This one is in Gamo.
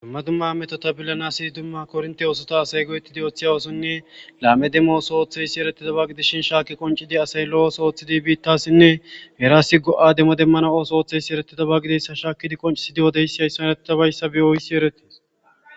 Dumma dumma metota billanasi dumma kornte oosota asay go7ettidi ooththi awoosonne laame demmo ooso ooththeysi erettida ba gidishin shaaki qoncidi asay lo7ooso ooththidi biittasinne geraasi go7a demmo demmana ooso ooththeysi erettida ba gideyssa shaakidi qoncisi diyodeyssi hayssan eretta bayssa biyoyssi erettis.